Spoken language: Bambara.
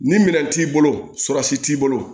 Ni minɛn t'i bolo t'i bolo